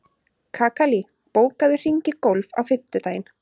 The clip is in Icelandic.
Kakali, bókaðu hring í golf á fimmtudaginn.